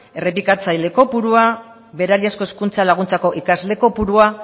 errepikatzaile kopurua berariazko hezkuntza laguntzako ikasle kopurua